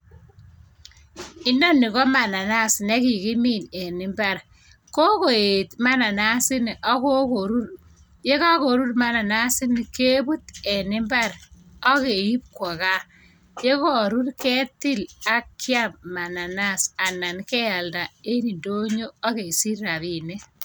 Ineni ko mananas ne kigimin en imbar. Kogoet mananas ini ak kogorur. Ye kagorur mananas ini keput en imbar ak keip kwo gaa. Ye karur ketil ak kiam mananas anan kealda en indonyo ak kesich rapinik.